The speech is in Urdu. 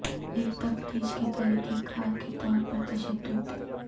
ایک تفتیش کے طریقہ کار کے طور پر تشدد